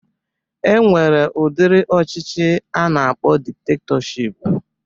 E nwere udiri ọchịchị a na-akpọ diktektọship